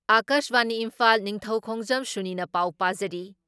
ꯑꯀꯥꯁꯕꯥꯅꯤ ꯏꯝꯐꯥꯜ ꯅꯤꯡꯊꯧꯈꯣꯡꯖꯝ ꯁꯨꯅꯤꯅ ꯄꯥꯎ ꯄꯥꯖꯔꯤ